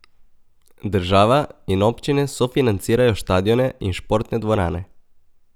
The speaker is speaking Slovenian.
Država in občine sofinancirajo štadione in športne dvorane.